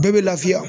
Bɛɛ bɛ lafiya